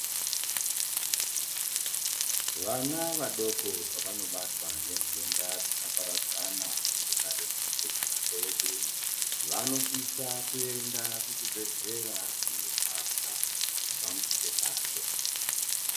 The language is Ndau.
Vana vadoko pavanobatwa ngentenda dzakaparadzana mukugara kwedu, vanosisa kuenda kuchibhedlera kunorapwa kubva muchitendacho.